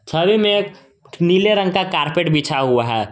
छवि में एक नीले रंग का कारपेट बिछा हुआ है।